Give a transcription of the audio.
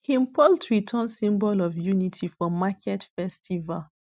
him poultry turn symbol of unity for market festival